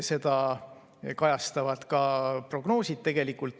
Seda kajastavad ka prognoosid.